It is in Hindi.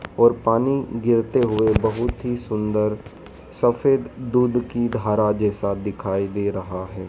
और पानी गिरते हुए बहुत ही सुंदर सफेद दूध की धारा जैसा दिखाई दे रहा है।